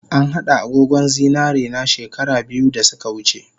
An hada agogon zinarena she kara biyu dasuka wuce